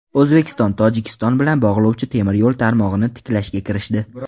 O‘zbekiston Tojikiston bilan bog‘lovchi temir yo‘l tarmog‘ini tiklashga kirishdi.